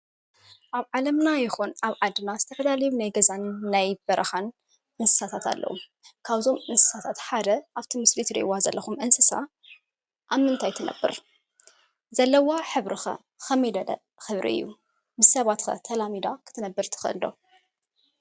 እብ ዓለምና ይኹን አብ ዓድን ዝተፈላለዩ ናይ ገዛን ናይ በረኻን እንስሳትት አለው። ካብዞም እንስስታት ሓደ አብቲ ምስሊ ትሪእዋ ዘኹም እንስሳ አብ ምንታይ ትነብር? ዘለዋ ሕብሪ ከ ከመይ ዝበለ ሕብሪ እዩ? ምስ ሰባት ከ ተላሚዳ ክትነብር ትኽእል ዶ?